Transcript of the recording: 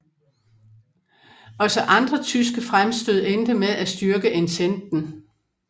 Også andre tyske fremstød endte med at styrke ententen